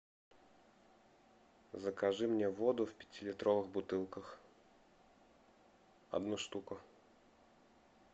закажи мне воду в пятилитровых бутылках одну штуку